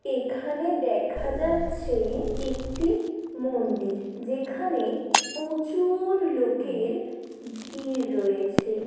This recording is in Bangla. এখানে দেখা যাচ্ছে একটি মন্দির যেখানে প্রচুর লোকের ভিড় রয়েছে।